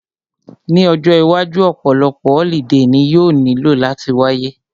Ní ọjọ́ iwájú, ọ̀pọ̀lọpọ̀ holiday ni yóò nílò láti wáyé